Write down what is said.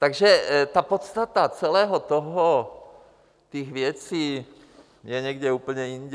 Takže ta podstata celého toho, těch věcí, je někde úplně jinde.